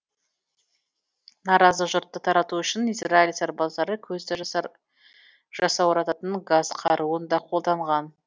наразы жұртты тарату үшін израиль сарбаздары көзді жасаурататын газ қаруын да қолданған